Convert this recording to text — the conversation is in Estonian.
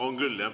Oleme küll, jah.